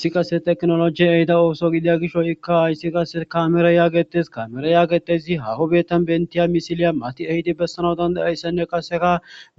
Issi kase teknoloji ehida ooso gidia gisho ikka hayssi kase kamere yaagetes kamere yaagetesi hahobetan bentiya misiliya mati ehidi bessana dandayayssanne qaseka